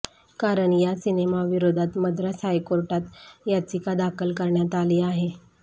कारण या सिनेमाविरोधात मद्रास हायकोर्टात याचिका दाखल करण्यात आली आहे